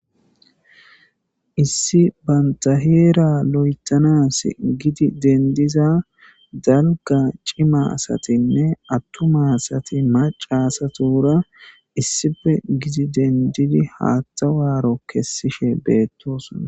issi banta heera lo7etanas gidi dendiza dalga cima satinne attuma asati macasatura issife gidi dendidi haattawaaro kessishe beettosona